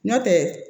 Nɔntɛ